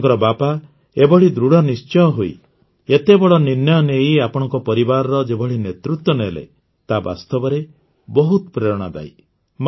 ଆପଣଙ୍କ ବାପା ଏଭଳି ଦୃଢ଼ନିଶ୍ଚୟ ହୋଇ ଏତେ ବଡ଼ ନିର୍ଣ୍ଣୟ ନେଇ ଆପଣଙ୍କ ପରିବାରର ଯେଭଳି ନେତୃତ୍ୱ ନେଲେ ତାହା ବାସ୍ତବରେ ବହୁତ ପ୍ରେରଣାଦାୟୀ